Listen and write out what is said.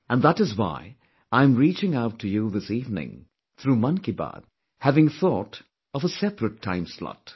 And that is why I am reaching out to you this evening through Mann Ki Baat, having thought of a separate time slot